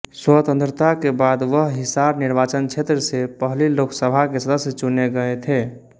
स्वतंत्रता के बाद वह हिसार निर्वाचन क्षेत्र से पहली लोकसभा के सदस्य चुने गए थे